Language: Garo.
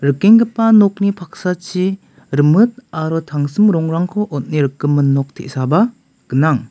rikenggipa nokni paksachi rimit aro tangsim rongrangko on·e rikgimin nok te·saba gnang.